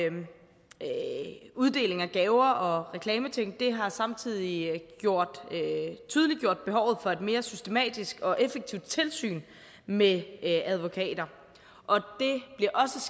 uddeling af gaver og reklameting har samtidig tydeliggjort behovet for et mere systematisk og effektivt tilsyn med advokater og